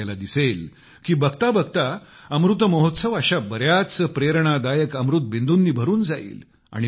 तुम्हाला दिसेल की बघता बघता अमृत महोत्सव अशा बऱ्याच प्रेरणादायक अमृत बिंदूंनी भरून जाईल